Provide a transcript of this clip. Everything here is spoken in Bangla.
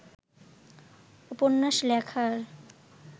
উপন্যাস লেখার